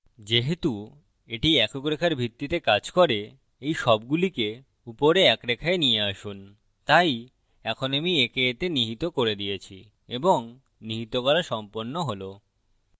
যেহেতু এটি একক রেখার ভিত্তিতে কাজ করে এই সবগুলিকে উপরে এক রেখায় নিয়ে আসুন তাই এখন আমি একে এতে নিহিত করে দিয়েছি এবং নিহিত করা সম্পন্ন হল